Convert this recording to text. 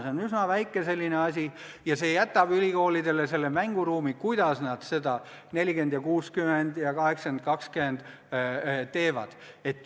See on selline üsna väike asi ja see jätab ülikoolidele mänguruumi, kuidas nad need 40% : 60% ja 80% : 20% sisustavad.